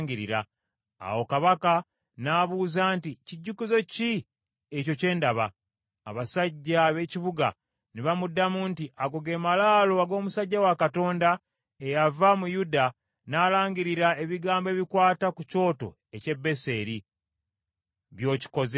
Awo kabaka n’abuuza nti, “Kijjukizo ki ekyo kye ndaba?” Abasajja ab’ekibuga ne bamuddamu nti, “Ago ge malaalo ag’omusajja wa Katonda eyava mu Yuda n’alangirira ebigambo ebikwata ku kyoto eky’e Beseri, by’okikoze.”